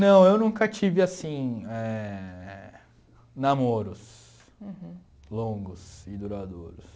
Não, eu nunca tive, assim, éh namoros. Uhum. Longos e duradouros.